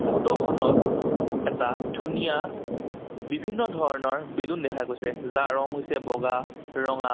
Photo খনত এটা ধুনীয়া বিভিন্ন ধৰণৰ বেলুন দেখা গৈছে যাৰ ৰং হৈছে বগা ৰঙা।